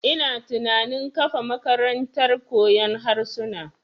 Ina tunanin kafa makarantar koyon harsuna.